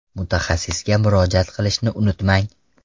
Mutaxassisga murojaat qilishni unutmang.